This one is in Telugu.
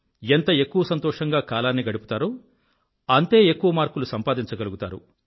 ఎంత ఎక్కువ సంతోషంగా కాలాన్ని గడుపుతారో అంతే ఎక్కువ మార్కులు సంపాదించగలుగుతారు